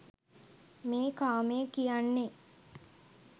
මේ කාමය කියන්නේ